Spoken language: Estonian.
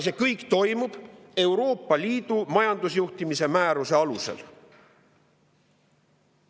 See kõik toimub Euroopa Liidu majandusjuhtimise määruse alusel.